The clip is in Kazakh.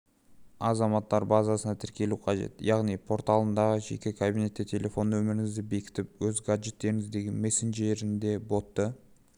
азаматтар базасына тіркелу қажет яғни порталындағы жеке кабинетте телефон нөміріңізді бекітіп өз гаджетіңіздегі мессенджерінде ботты